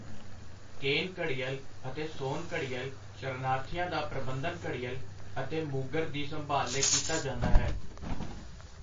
ਕੇਨ ਘੜਿਅਲ ਅਤੇ ਸੋਨ ਘੜਿਅਲ ਸ਼ਰਨਾਰਥੀਆਂ ਦਾ ਪ੍ਰਬੰਧਨ ਘੜਿਅਲ ਅਤੇ ਮੂਗਰ ਦੀ ਸੰਭਾਲ ਲਈ ਕੀਤਾ ਜਾਂਦਾ ਹੈ।